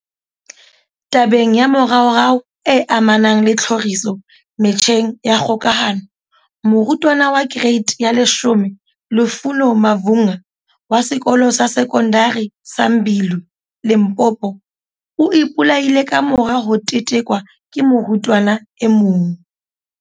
Tabeng ya moraorao e amanang le tlhoriso metjheng ya kgokahano, morutwana wa kereiti ya 10 Lufuno Mavhunga, wa Sekolo sa Sekondari sa Mbilwi, Limpopo, o ipolaile kamora ho tetekwa ke morutwana e mong.